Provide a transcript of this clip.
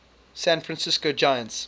san francisco giants